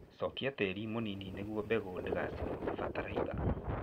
Cokia tĩĩri mũnini nĩguo mbegũ ndĩgacinwo nĩ bataraitha.